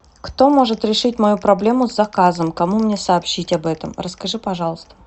кто может решить мою проблему с заказом кому мне сообщить об этом расскажи пожалуйста